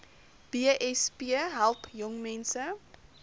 besp help jongmense